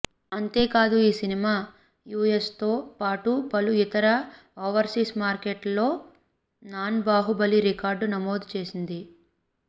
అంతేకాదు ఈ సినిమా యూఎస్తో పాటు పలు ఇతర ఓవర్సీస్ మార్గెట్లలో నాన్ బాహుబలి రికార్డు నమోదు చేసింది